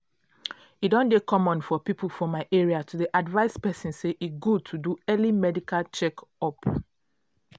e don dey common for people for my area to dey advise persin say e good to do early medical check-up.